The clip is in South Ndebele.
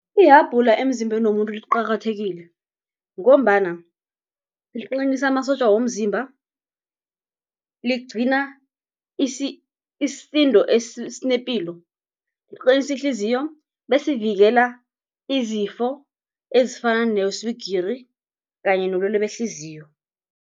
Ihabhula emzimbeni womuntu liqakathekile, ngombana liqinisa amasotja womzimba, ligcina isisindo esinepilo, liqinisa ihliziyo, besivikela izifo ezifana neswigiri kanye nobulwelwe behliziyo.